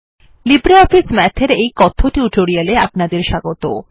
LibreOffice Math এর এই কথ্য টিউটোরিয়ালে আপনাদের স্বাগত